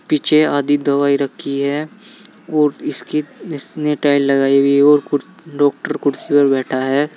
पीछे आधी दवाई रखी है और इसकी इसने टाइल लगाई हुई है और डॉक्टर कुर्सी पर बैठा है।